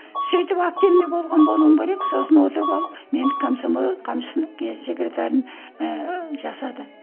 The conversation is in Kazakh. сөйтіп активный болған болуым керек сосын отырып алып мені комсомол секретарын ііі жасады